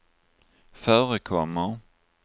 förekommer